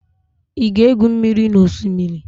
Ị ga-egbu mmiri na Osimiri?